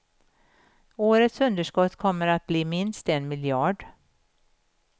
Årets underskott kommer att bli minst en miljard.